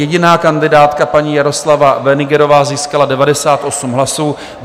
Jediná kandidátka paní Jaroslava Wenigerová získala 98 hlasů.